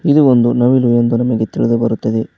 ಇದು ಒಂದು ನವಿಲು ಎಂದು ನಮಗೆ ತಿಳಿದು ಬರುತ್ತದೆ.